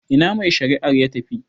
Ina mai shari'ar ya tafi?